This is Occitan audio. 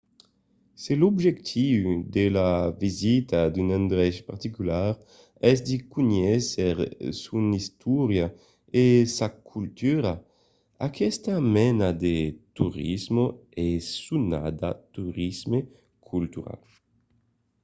se l’objectiu de la visita d’un endrech particular es de conéisser son istòria e sa cultura aquesta mena de torisme es sonada torisme cultural